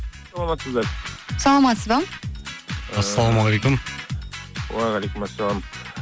саламатсыздар саламатсыз ба ыыы ассалаумағалейкум уағалейкумассалам